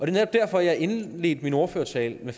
er netop derfor jeg indledte min ordførertale med